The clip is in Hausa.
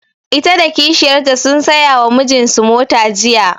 Ita da kishiyar ta sun saya wa mijin su mota jiya